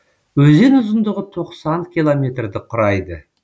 өзен ұзындығы тоқсан километрді құрайды